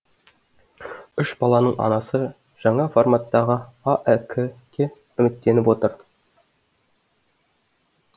үш баланың анасы жаңа форматтағы аәк ке үміттеніп отыр